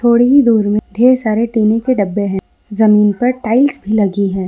थोड़ी ही दूर में ढेर सारे टीनी के डब्बे हैं जमीन पर टाइल्स भी लगी है।